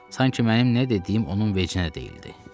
Sanki mənim nə dediyim onun vecinə deyildi.